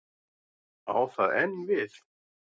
Á það enn við?